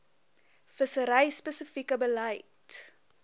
vissery spesifieke beleid